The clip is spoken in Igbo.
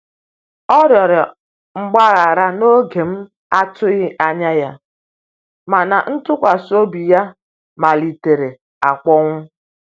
Ọ rụrọ mgbahara na oge m atughi anya, mana ntụkwasi obi ya malitere akponwụ